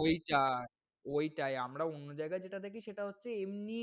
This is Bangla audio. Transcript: ওইটায় ওইটায়, আমরা অন্য জায়গায় যেটা দেখি সেটা হচ্ছে এমনি